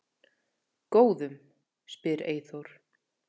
Góðum? spyr Eyþór.